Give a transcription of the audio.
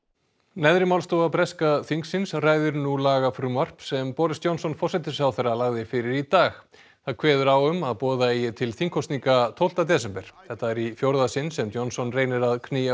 neðri málstofa breska þingsins ræðir nú lagafrumvarp sem Boris Johnson forsætisráðherra lagði fyrir í dag það kveður á um að boða eigi til þingkosninga tólfta desember þetta er í fjórða sinn sem Johnson reynir að knýja